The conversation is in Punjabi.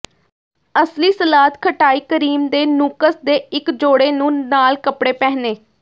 ਅਸਲੀ ਸਲਾਦ ਖਟਾਈ ਕਰੀਮ ਦੇ ਨੂੰਕੱਸ ਦੇ ਇੱਕ ਜੋੜੇ ਨੂੰ ਨਾਲ ਕੱਪੜੇ ਪਹਿਨੇ